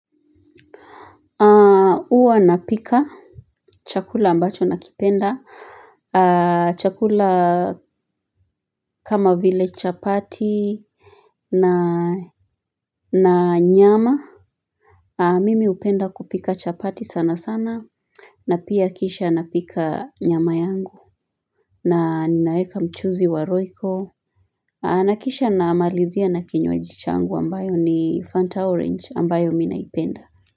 Huwa napika chakula ambacho nakipenda, chakula kama vile chapati na nyama, mimi upenda kupika chapati sana sana, na pia kisha napika nyama yangu, na ninaeka mchuzi wa roiko, na kisha na malizia na kinywaji changu ambayo ni Fanta Orange ambayo mi naipenda.